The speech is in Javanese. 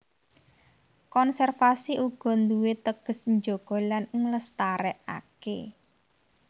Konservasi uga nduwé teges njaga lan nglestarékaké